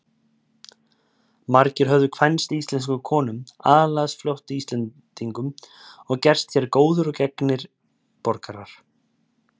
Margir höfðu kvænst íslenskum konum, aðlagast fljótt Íslendingum og gerst hér góðir og gegnir borgarar.